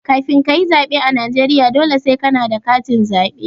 Kafin kayi tsaɓe a Najeriya, dole sai kana da katin zaɓe.